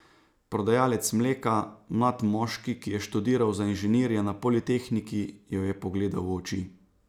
Prodajalec mleka, mlad moški, ki je študiral za inženirja na politehniki jo je pogledal v oči.